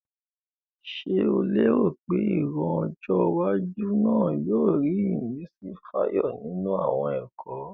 Ṣé o léèrò pé ìran ọjọ́ iwájú náà yóò rí ìmísí fàyọ nínú àwọn ẹ̀kọ́?